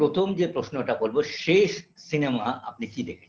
প্রথম যে প্রশ্নটা করবো শেষ cinema আপনি কি দেখেছেন